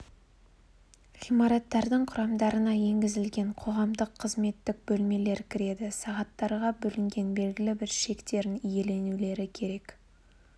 ғимараттардың құрамдарына енгізілген қоғамдық қызметтік бөлмелер кіреді сағаттарға бөлінген белгілі бір шектерін иеленулері керек